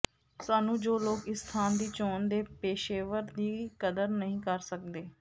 ਸਾਨੂੰ ਜੋ ਲੋਕ ਇਸ ਸਥਾਨ ਦੀ ਚੋਣ ਦੇ ਪੇਸ਼ੇਵਰ ਦੀ ਕਦਰ ਨਹੀ ਕਰ ਸਕਦੇ